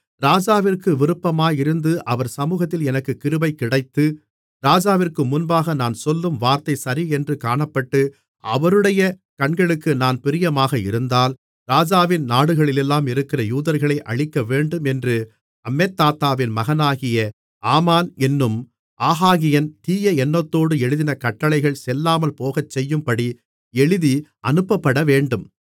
ராஜாவிற்கு விருப்பமாயிருந்து அவர் சமுகத்தில் எனக்குக் கிருபை கிடைத்து ராஜாவிற்கு முன்பாக நான் சொல்லும் வார்த்தை சரியென்று காணப்பட்டு அவருடைய கண்களுக்கு நான் பிரியமாக இருந்தால் ராஜாவின் நாடுகளிலெல்லாம் இருக்கிற யூதர்களை அழிக்கவேண்டும் என்று அம்மெதாத்தாவின் மகனாகிய ஆமான் என்னும் ஆகாகியன் தீய எண்ணத்தோடு எழுதின கட்டளைகள் செல்லாமல் போகச்செய்யும்படி எழுதி அனுப்பப்படவேண்டும்